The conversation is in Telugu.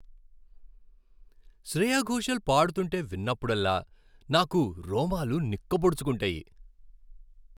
శ్రేయా ఘోషల్ పాడుతుంటే విన్నప్పుడల్లా, నాకు రోమాలు నిక్కపొడుచుకుంటాయి.